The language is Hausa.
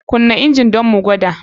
KUna injin ɗin mu gwada.